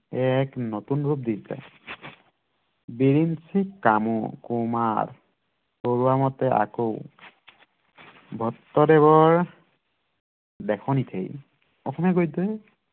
এক নতুন ৰূপ দিছে বিৰিঞ্চি কামু কুমাৰ বৰুৱা মতে আকৌ ভট্টদেৱৰ লেখনিতেই অসমীয়া গদ্যই